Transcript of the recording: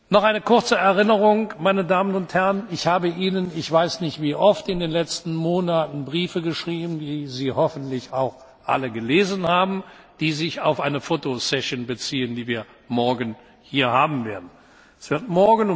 Noch eine kurze Erinnerung, meine Damen und Herren Ich habe Ihnen ich weiß nicht wie oft in den letzten Monaten Briefe geschrieben, die Sie hoffentlich auch alle gelesen haben, die sich auf eine Fotosession beziehen, die wir morgen hier durchführen werden.